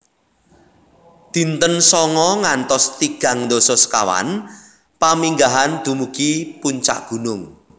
Dinten sanga ngantos tigang dasa sekawan Paminggahan dumugi puncak gunung